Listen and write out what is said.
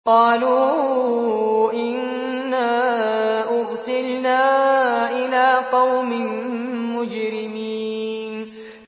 قَالُوا إِنَّا أُرْسِلْنَا إِلَىٰ قَوْمٍ مُّجْرِمِينَ